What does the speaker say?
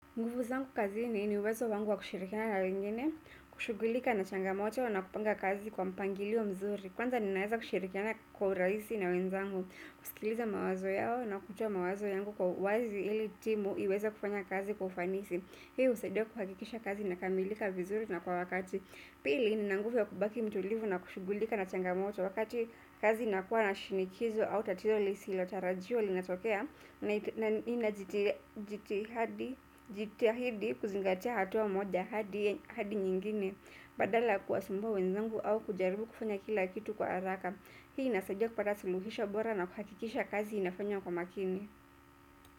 Nguvu zangu kazini ni uwezo wangu wa kushirikiana na wengine, kushughulika na changamoto na kupanga kazi kwa mpangilio mzuri. Kwanza ninaweza kushirikiana kwa urahisi na wenzangu, kusikiliza mawazo yao na kutoa mawazo yangu kwa uwazi ili timu iweze kufanya kazi kwa ufanisi. Hii husaidia kuhakikisha kazi inakamilika vizuri na kwa wakati. Pili, nina nguvu ya kubaki mtulivu na kushughulika na changamoto wakati kazi inakuwa na shinikizo au tatizo lisilotarajiwa linatokea na ninajitahidi kuzingatia hatua moja hadi hadi nyingine badala ya kuwasumbua wenzangu au kujaribu kufanya kila kitu kwa haraka. Hii inasaidia kupata suluhisho bora na kuhakikisha kazi inafanywa kwa makini.